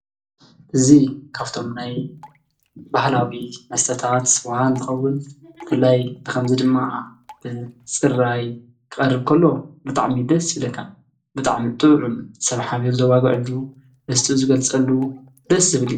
እዚ ካብቶም ናይ ባህላዊ መስተታት ስዋ እንትኸውን ብፍላይ ብከምዚ ድማ ብፅራይ ክቀርብ ከሎ ብጣዕሚ እዩ ደስ ይብለካ። ብጣዕሚ ጥዑም ሰብ ሓቢሩ ዘዋግዐሉ ደስትኡ ዝገልፀሉ ደስ ዝብል እዩ።